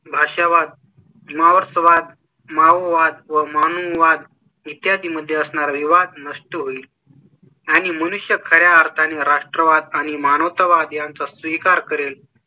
भाषा, वाद, मावळ, स्वाद, माओवाद म्हणून वाद इत्यादी मध्ये असणार विवाद नष्ट होईल आणि मनुष्य खऱ्या अर्थाने राष्ट्रवाद आणि मानवतावाद यांचा स्वीकार करेल